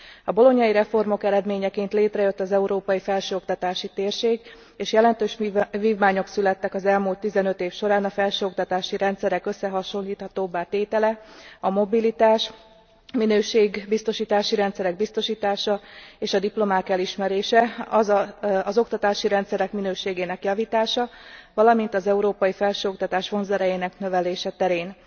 A bolognai reformok eredményeként létrejött az európai felsőoktatási térség, és jelentős vívmányok születtek az elmúlt 15 év során a felsőoktatási rendszerek összehasonlíthatóbbá tétele, a mobilitás, a minőségbiztosítási rendszerek biztosítása és a diplomák elismerése, az oktatási rendszerek minőségének javítása, valamint az európai felsőoktatás vonzerejének növelése terén.